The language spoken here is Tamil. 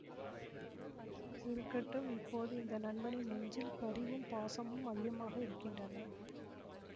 இருக்கட்டும் இப்போது இந்த நண்பனின் நெஞ்சில் பரிவும் பாசமும் அதிகமாக இருக்கின்றன